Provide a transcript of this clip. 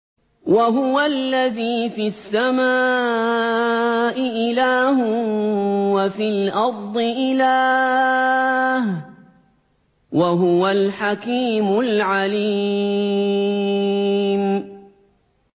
وَهُوَ الَّذِي فِي السَّمَاءِ إِلَٰهٌ وَفِي الْأَرْضِ إِلَٰهٌ ۚ وَهُوَ الْحَكِيمُ الْعَلِيمُ